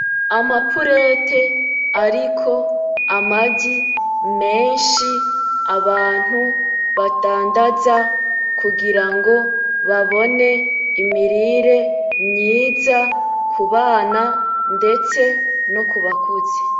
Amapurete ariko amagi menshi abantu badandaza kugirango babone imirire myiza kubana ndetse no kubakuze .